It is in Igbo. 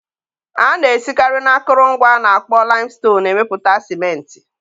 A na-esikarị n'akụrụngwa a na-akpọ laịmston emepụta Sịmentị.